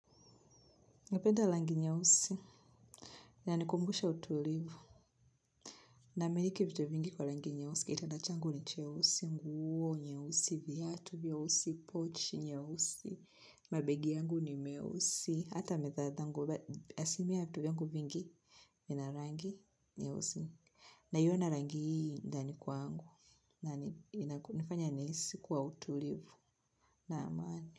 Napenda langi nyeusi, ina nikumbusha utulivu, na miliki vitu vingi kwa langi nyeusi, kitanda changu ni cheusi, nguo nyeusi, viatu vyeusi, pochi nyeusi, mabegi yangu ni meusi, hata mithadangu, asilimia ya vitu vingi, vinarangi nyeusi, naiona rangi hii ndani kwangu, na kunifanya nihisi kwa utulivu, na amani.